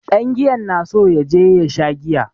Ɗangiyan na so ya je ya sha giya.